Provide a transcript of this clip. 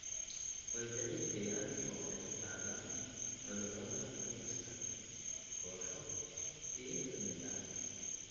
way daciifiyaan oo waxay qaadaan cudurada fayraska. Kooxo (gumeysi) iyaga ka mid ah